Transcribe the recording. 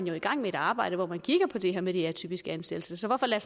i gang med et arbejde hvor man kigger på det her med de atypiske ansættelser så hvorfor lader